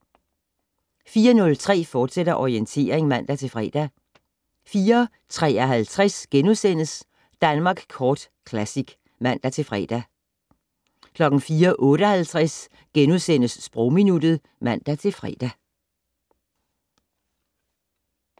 04:03: Orientering, fortsat (man-fre) 04:53: Danmark Kort Classic *(man-fre) 04:58: Sprogminuttet *(man-fre)